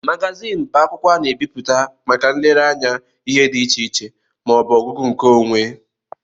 Magazin bụ akwụkwọ a na-ebipụta màkà nlere anya ihe dị iche iche ma ọbu ọgụgụ nke onwé.